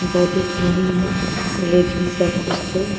दिख रहीं हैं। लेकिन सब कुछ तो --